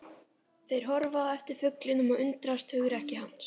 Þeir horfa á eftir fuglinum og undrast hugrekki hans.